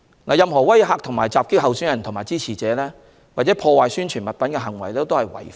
任何威嚇和襲擊候選人及其支持者，或破壞宣傳物品的行為均屬違法。